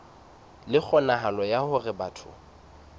le kgonahalo ya hore batho